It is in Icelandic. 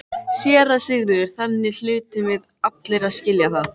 SÉRA SIGURÐUR: Þannig hlutum við allir að skilja það.